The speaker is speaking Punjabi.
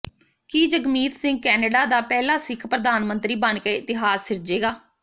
ਕੀ ਜਗਮੀਤ ਸਿੰਘ ਕੈਨੇਡਾ ਦਾ ਪਹਿਲਾ ਸਿਖ ਪ੍ਰਧਾਨ ਮੰਤਰੀ ਬਣਕੇ ਇਤਿਹਾਸ ਸਿਰਜੇਗਾ